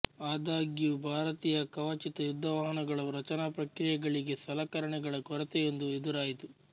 ಆದಾಗ್ಯೂ ಭಾರತೀಯ ಕವಚಿತ ಯುದ್ಧವಾಹನಗಳ ರಚನಾ ಪ್ರಕ್ರಿಯೆಗಳಿಗೆ ಸಲಕರಣೆಗಳ ಕೊರತೆಯೊಂದು ಎದುರಾಯಿತು